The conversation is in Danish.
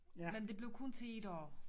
Men det blev kun til ét år